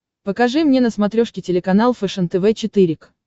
покажи мне на смотрешке телеканал фэшен тв четыре к